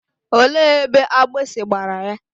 Olee ebe agbịsị gbara ya?